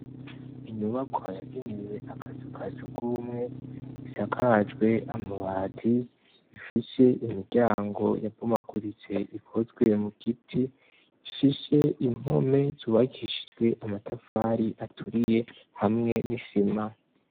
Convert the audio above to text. Inyubakwa yageniwe akazu ka sirwumwe, isakajwe amabati, ifise imiryango yabomaguritse ikoswe mu giti, ifise impome zubakishijwe amatafari aturiye hamwe n'isima.